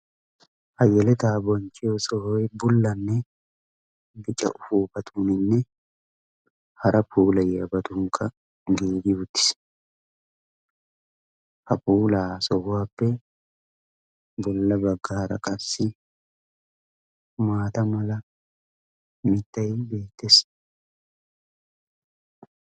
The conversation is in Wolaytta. hayyaletaa bonchchiyo sohoyi bullanne bicca ufuufatuuninne hara puula yaabatunkka giiggi utiis. ha puulaa sohuwaappe bulla bagga hara qassi maata mala mittayii beettees.